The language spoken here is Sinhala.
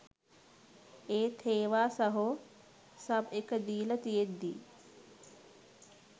ඒත් හේවා සහෝ සබ් එක දීල තියෙද්දි